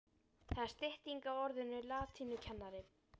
Það er stytting á orðinu latínukennari.